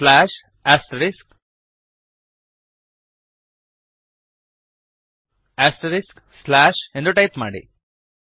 slash asterisks asterisks slash ಎಂದು type ಮಾಡಿ